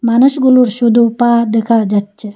মানুষগুলুর শুধু পা দেখা যাচ্ছে।